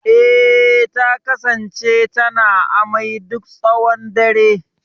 Eh, ta kasance tana ta amai duk tshawon dare.